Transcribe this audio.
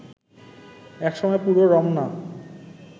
এক সময় পুরো রমনা